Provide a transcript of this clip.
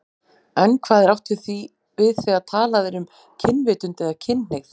En hvað er átt við þegar talað er um kynvitund eða kynhneigð?